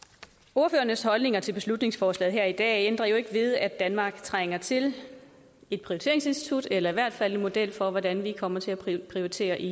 ordførernes holdninger til beslutningsforslaget her i dag ændrer jo ikke ved at danmark trænger til et prioriteringsinstitut eller i hvert fald en model for hvordan vi kommer til at prioritere i